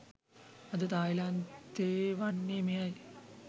අද තායිලන්තයේ වන්නේ මෙයයි